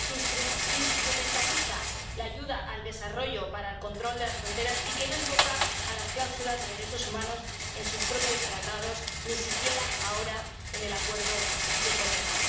que instrumentaliza la ayuda al desarrollo para el control de las fronteras y que no invoca las cláusulas de derechos humanos en sus propios Tratados, ni siquiera ahora en el Acuerdo de Cotonú.